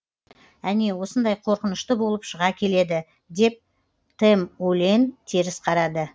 әне осындай қорқынышты болып шыға келеді деп тэмүлэн теріс қарады